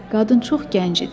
Qadın çox gənc idi.